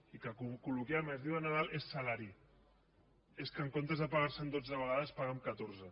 i que col·loquialment es diu de nadal és salari és que en comptes de pagar se en dotze vegades es paga en catorze